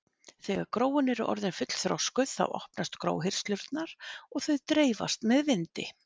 þegar gróin eru orðin fullþroskuð þá opnast gróhirslurnar og þau dreifast með vindi